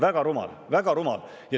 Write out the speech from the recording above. Väga rumal, väga rumal!